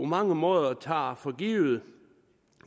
mange måder tager for givet